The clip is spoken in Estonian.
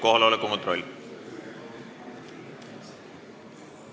Kohaloleku kontroll.